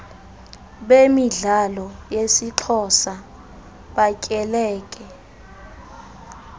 bemidlalo yesixhosa batyekele